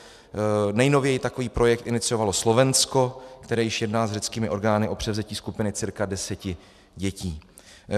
Nejnověji takový projekt iniciovalo Slovensko, které již jedná s řeckými orgány o převzetí skupiny cca deseti dětí.